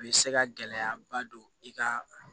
U bɛ se ka gɛlɛyaba don i ka